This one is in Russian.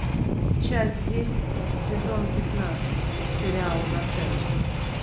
часть десять сезон пятнадцать сериал готэм